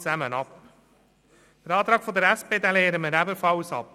Den Antrag der SP lehnen wir ebenfalls ab.